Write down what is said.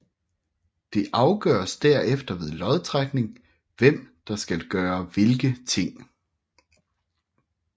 Det afgøres derefter ved lodtrækning hvem der skal gøre hvilke ting